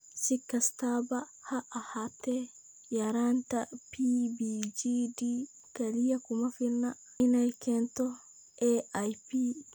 Si kastaba ha ahaatee, yaraanta PBGD kaliya kuma filna inay keento AIP.